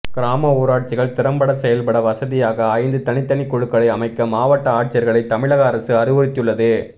கிராம ஊராட்சிகள் திறம்பட செயல்பட வசதியாக ஐந்து தனித்தனி குழுக்களை அமைக்க மாவட்ட ஆட்சியா்களை தமிழக அரசு அறிவுறுத்தியுள்ளது